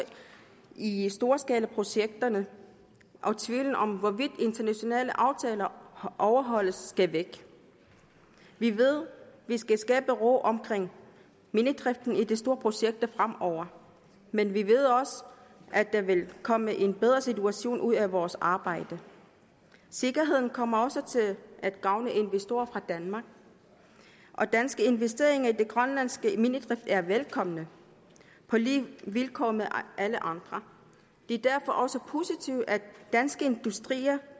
i i storskalaprojekterne og tvivlen om hvorvidt internationale aftaler overholdes skal væk vi ved at vi skal skabe ro omkring minedriften i de store projekter fremover men vi ved også at der vil komme en bedre situation ud af vores arbejde sikkerheden kommer også til at gavne investorer fra danmark og danske investeringer i den grønlandske minedrift er velkomne på lige vilkår med alle andre det er derfor også positivt at dansk industri